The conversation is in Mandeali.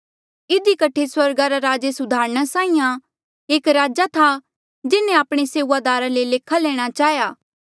इधी कठे स्वर्गा रा राज एस उदाहरणा साहीं आं एक राजा था जिन्हें आपणे सेऊआदारा ले लेखा लैणा चाहेया